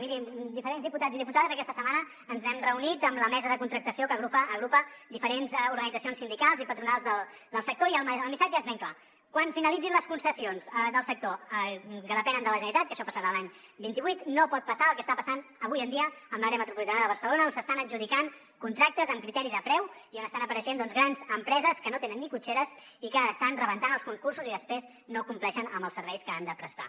miri diferents diputats i diputades aquesta setmana ens hem reunit amb la mesa de contractació que agrupa diferents organitzacions sindicals i patronals del sector i el missatge és ben clar quan finalitzin les concessions del sector que depenen de la generalitat que això passarà l’any vint vuit no pot passar el que està passant avui en dia amb l’àrea metropolitana de barcelona on s’estan adjudicant contractes amb criteri de preu i on estan apareixent doncs grans empreses que no tenen ni cotxeres i que estan rebentant els concursos i després no compleixen amb els serveis que han de prestar